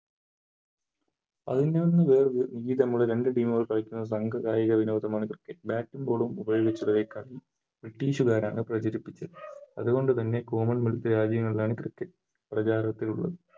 രണ്ട് Team കൾ കളിക്കുന്ന കായിക വിനോദമാണ് Cricket bat ഉം Ball ഉം ഉപയോഗിച്ചുള്ള കളി British കാരണാണ് പ്രചരിപ്പിച്ചത് അതുകൊണ്ട് തന്നെ Common wealth രാജ്യങ്ങളിലാണ് Cricket പ്രചാരത്തിലുള്ളത്